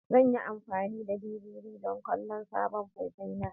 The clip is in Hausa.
Zan yi amfani da DVD don kallon sabon faifai na.